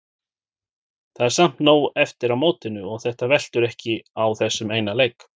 Það er samt nóg eftir af mótinu og þetta veltur ekki á þessum eina leik.